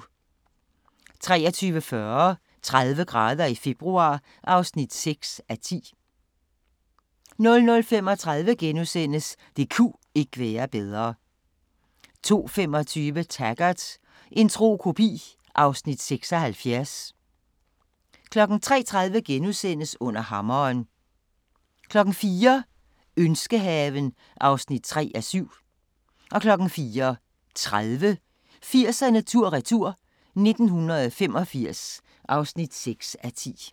23:40: 30 grader i februar (6:10) 00:35: Det ku' ikke være bedre * 02:25: Taggart: En tro kopi (Afs. 76) 03:30: Under hammeren * 04:00: Ønskehaven (3:7) 04:30: 80'erne tur-retur: 1985 (6:10)